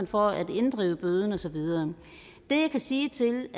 for at inddrive bøden og så videre det jeg kan sige til